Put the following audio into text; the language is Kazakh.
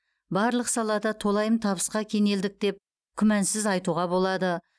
барлық салада толайым табысқа кенелдік деп күмәнсіз айтуға болады